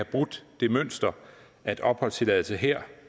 brudt det mønster at en opholdstilladelse her